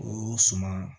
O suman